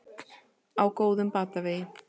Á góðum batavegi